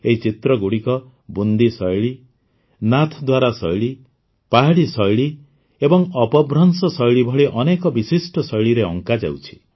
ଏହି ଚିତ୍ରଗୁଡ଼ିକ ବୁନ୍ଦି ଶୈଳୀ ନାଥ୍ଦ୍ୱାରା ଶୈଳୀ ପାହାଡ଼ି ଶୈଳୀ ଏବଂ ଅପଭ୍ରଂଶ ଶୈଳୀ ଭଳି ଅନେକ ବିଶିଷ୍ଟ ଶୈଳୀରେ ଅଙ୍କାଯାଉଛି